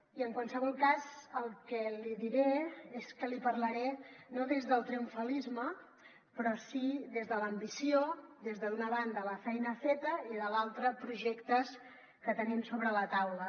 i en qualsevol cas el que li diré és que li parlaré no des del triomfalisme però sí des de l’ambició d’una banda de la feina feta i de l’altra de projectes que tenim sobre la taula